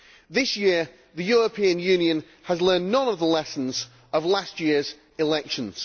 This year, the European Union has learned none of the lessons from last year's elections.